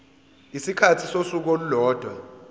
isikhathi sosuku olulodwa